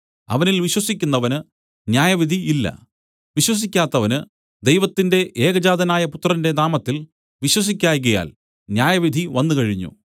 അവനിൽ വിശ്വസിക്കുന്നവന് ന്യായവിധി ഇല്ല വിശ്വസിക്കാത്തവന് ദൈവത്തിന്റെ ഏകജാതനായ പുത്രന്റെ നാമത്തിൽ വിശ്വസിക്കായ്കയാൽ ന്യായവിധി വന്നുകഴിഞ്ഞു